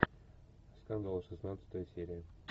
скандал шестнадцатая серия